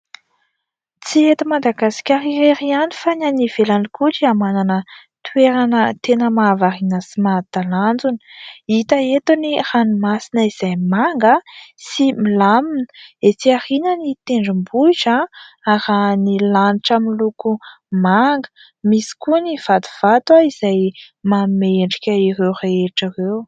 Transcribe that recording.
Tsy eto Madagasikara irery ihany fa ny any ivelany koa dia manana toerana tena mahavariana sy mahatalanjona. Hita eto ny ranomasina izay manga sy milamina, ety aoriana ny tendrombohitra arahan'ny lanitra miloko manga, misy koa ny vatovato izay manome endrika ireo rehetra ireo.